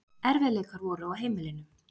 Erfiðleikar voru á heimilinu.